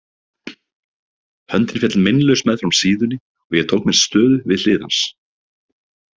Höndin féll meinlaus meðfram síðunni og ég tók mér stöðu við hlið hans.